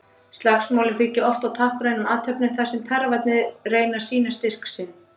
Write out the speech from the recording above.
Slagsmálin byggja oft á táknrænum athöfnum þar sem tarfarnir reyna að sýna styrk sinn.